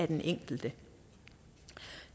den enkelte